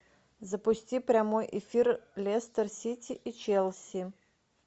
запусти прямой эфир лестер сити и челси